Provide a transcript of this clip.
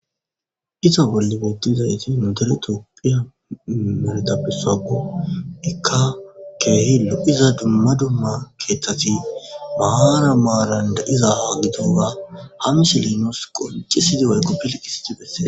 Iza bolla beetizaytti nu dere tophphiya medhetta besakkko. Ikka keehi lo'iza dumma dumma keththatti maaran maaran de'izza gittawa ha misile nus qonccisidi woyko gilcisidi besses.